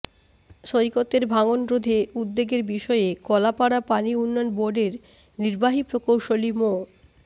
সৈকতের ভাঙনরোধে উদ্যোগের বিষয়ে কলাপাড়া পানি উন্নয়ন বোর্ডের নির্বাহী প্রকৌশলী মো